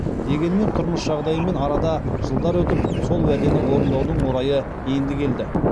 дегенмен тұрмыс жағдайымен арада жылдар өтіп сол уәдені орындаудың орайы енді келді